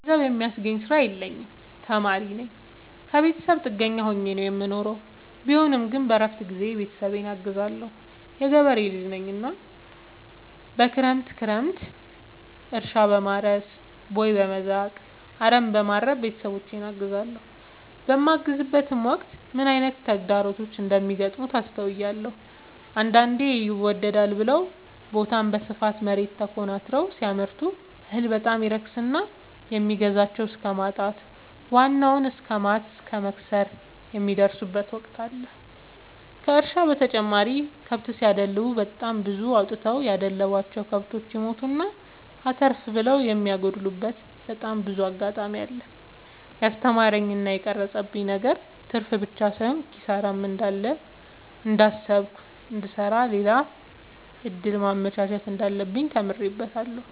ገንዘብ የሚያስገኝ ስራ የለኝም ተማሪነኝ ከብተሰብ ጥገኛ ሆኜ ነው የምኖረው ቢሆንም ግን በረፍት ጊዜዬ ቤተሰብን አግዛለሁ። የገበሬ ልጅነኝ እናም ክረምት ክረምት እርሻ፣ በማረስ፣ ቦይ፣ በመዛቅ፣ አረምበማረም ቤተሰቦቼን አግዛለሁ። በማግዝበትም ወቅት ምን አይነት ተግዳሮቶች እንደሚገጥሙት አስተውያለሁ። አንዳንዴ ይመደዳል ብለው በታም በስፋት መሬት ተኮናትረው ሲያመርቱ እህል በጣም ይረክስና የሚገዛቸው እስከማጣት ዋናውን እስከማት እስከ መክሰር የሚደርሱበት ወቅት አለ ከእርሻ በተጨማሪ ከብት ሲደልቡ በጣም ብዙ አውጥተው ያደለቡቸው። ከብቶች ይሞቱና አተርፍ ብለው የሚያጎሉበቴ በጣም ብዙ አጋጣሚ አለ። የስተማረኝ እና የቀረፀብኝ ነገር ትርፍብቻ ሳይሆን ኪሳራም እንዳለ እያሰብኩ እንድሰራ ሌላ እድል ማመቻቸት እንዳለብኝ ተምሬበታለሁ።